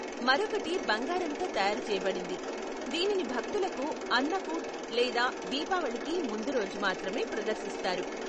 మరొకటి బంగారంతో తయారు చేయబడింది, దీనిని భక్తులకు అన్నకూట్ లేదా దీపావళికి ముందు రోజు మాత్రమే ప్రదర్శిస్తారు.